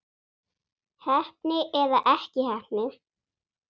Heppni eða ekki heppni?